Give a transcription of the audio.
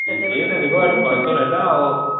ସେଟା କହିବାର ସେଟା